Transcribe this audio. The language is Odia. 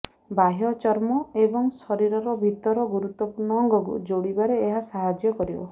ବାହ୍ୟ ଚର୍ମ ଏବଂ ଶରୀରର ଭିତର ଗୁରୁତ୍ବପୂର୍ଣ୍ଣ ଅଙ୍ଗକୁ ଯୋଡିବାରେ ଏହା ସାହାଯ୍ୟ କରିବ